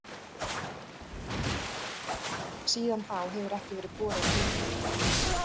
Síðan þá hefur ekki verið borað dýpra.